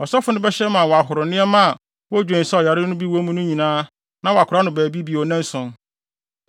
ɔsɔfo no bɛhyɛ ama wɔahoro nneɛma a wodwen sɛ ɔyare no bi wɔ mu no no nyinaa na wɔakora no baabi bio nnanson.